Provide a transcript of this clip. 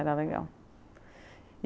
Era legal.